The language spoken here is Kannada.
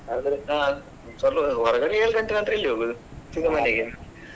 ಹೊರಗಡೆ ಏಳ್ ಗಂಟೆ ನಂತ್ರ ಎಲ್ಲಿ ಹೋಗುದು .